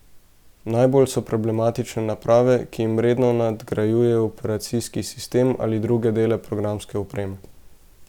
Najbolj so problematične naprave, ki jim redno nadgrajujejo operacijski sistem ali druge dele programske opreme.